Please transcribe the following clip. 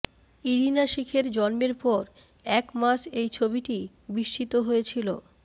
Irina শিখের জন্মের পর এক মাস এই ছবিটি বিস্মিত হয়েছিল